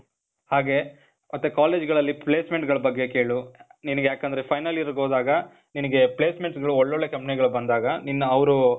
ಹಾಗೆ, ಆ ಥರ ಕಾಲೇಜ್ಗಳಲ್ಲಿ placement ಗಳ ಬಗ್ಗೆ ಕೇಳು. ನಿನಿಗ್ ಯಾಕಂದ್ರೆ final year ಗೆ ಹೋದಾಗ, ನಿನಿಗೆ placements ಗಳು ಒಳ್ಳೊಳ್ಳೆ company ಗಳು ಬಂದಾಗ ನಿನ್ನ ಅವ್ರು